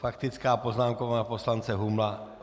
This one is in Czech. Faktická poznámka poslance Humla.